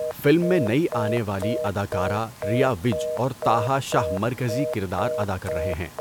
Film میں نئی آنے والی اداکارہ ریا وج اور طحہٰ شاہ مرکزی کردار ادا کر رہے ہیں۔